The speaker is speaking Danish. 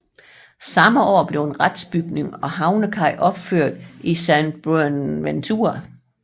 Samme år blev en retsbygning og havnekaj opført i San Buenaventura